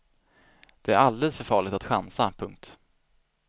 Det är alldeles för farligt att chansa. punkt